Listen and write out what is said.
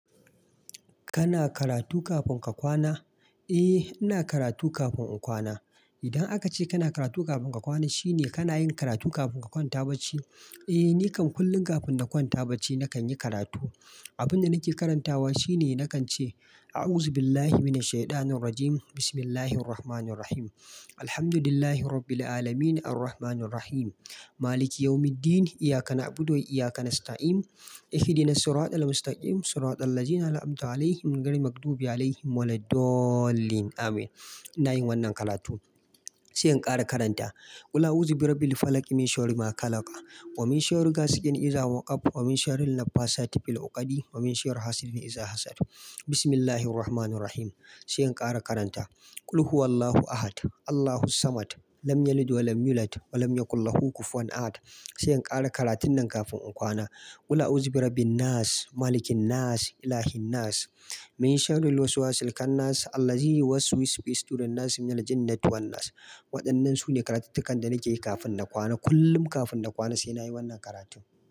Kana karatu kafin ka kwana? Eh, ina karatu kafin in kwana. Idan aka ce kana karatu kafin ka kwana, shine kana yin karatu kafin ka kwanta bacci. Eh, ni kam kullum kafin na kwanta bacci nakan yi karatu. Abin da nake karantawa shine nakan ce "A'uzu billahi mina shaitanir rajim. Bismillahirrahmanir rahim. Alhamdulillahi rabbil alamin. Arrahmanir rahim. Maliki yawmi ddin. Iyyaka na'budu. Wa iyyaka nasta'in. Ihdinas siratal mustaqim. Siratal ladhina an'amta 'alaihim. Ghairil maghdubi 'alaihim wa lad dallin." Amin. Ina yin wannan karatu. Sai in ƙara karanta. "Qul a'uzu bi rabbi l falaq. Min sharri ma khalaq. Wa min sharri gasiqin iza waqab. Wa min sharrin nafasati fil uqadi. Wa min sharri hasidin iza hasad. Bismillahirrahmanir rahim." Sai in ƙare karanta. "Qul huwallahu ahad. Allahus samad. Lam yalid wa lam yulad. Wa lam yakullahu kufuwan ahad." Sai in ƙara karatun nan kafin in kwana. "Qul a'uzu bi rabbin nas. Malikin nas. Ilahin nas. Min sharri lwaswasil khannas. Alladhi yuwaswisu fi sudurinnas. Minal jinnati wannas." Waɗannan su ne karatuttukan da nake yi kafin na kwana. Kullum kafin na kwana sai na yi wannan karatu.